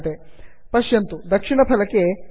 fire fox browser पिधाय पुनरुद्घाटितं भवति